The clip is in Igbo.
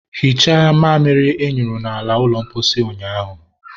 hichaa mamịrị ị nyụrụ n'ala ụlọ mposi ụnyaahụ!